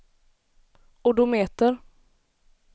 odometer